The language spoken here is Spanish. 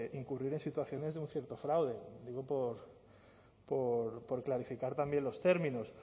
incurrir en situaciones de un cierto fraude digo por clarificar también los términos